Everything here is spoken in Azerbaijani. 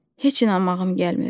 Heç inanmağım gəlmir.